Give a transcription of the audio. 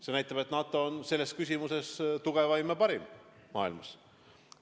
See näitab, et NATO on selles mõttes tugevaim ja parim maailmas.